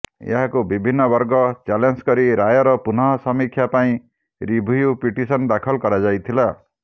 ଏହାକୁ ବିଭିନ୍ନ ବର୍ଗ ଚ୍ୟାଲେଞ୍ଜ କରି ରାୟର ପୁନଃ ସମୀକ୍ଷା ପାଇଁ ରିଭ୍ୟୁ ପିଟିସନ ଦାଖଲ କରାଯାଇଥିଲା